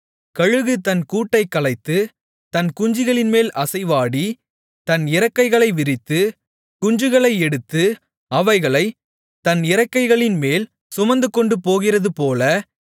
கழுகு தன் கூட்டைக் கலைத்து தன் குஞ்சுகளின்மேல் அசைவாடி தன் இறக்கைகளை விரித்து குஞ்சுகளை எடுத்து அவைகளைத் தன் இறக்கைகளின்மேல் சுமந்துகொண்டுபோகிறதுபோல